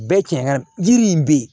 Bɛɛ cɛn ka yiri in be yen